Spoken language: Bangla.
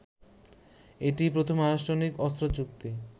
এটিই প্রথম আনুষ্ঠানিক অস্ত্রচুক্তি